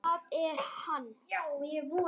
Það er hann.